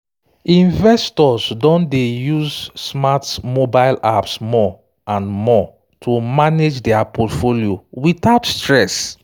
investors don dey use smart mobile apps more and more to manage their portfolio without stress